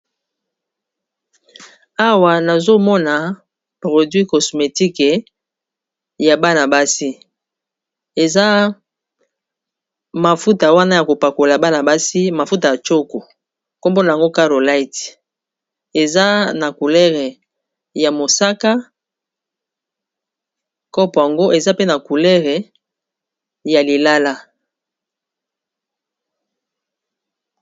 Awa nazomona produit cosmetique ya bana-basi eza mafuta, wana ya kopakola bana basi mafuta ya choko nkombona yngo carolite eza na coulere ya mosaka kopo ango eza pe na coulere ya lilala.